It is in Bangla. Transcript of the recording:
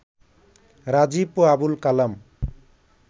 রাজীব ও আবুল কালাম